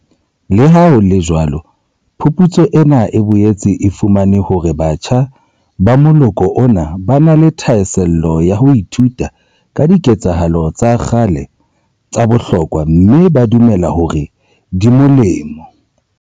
Leha ho le jwalo phuputso ena e boetse e fumane hore batjha ba moloko ona ba na le thahasello ya ho ithuta ka diketsahalo tsa kgale tsa bohlokwa mme ba dumela hore di molemo.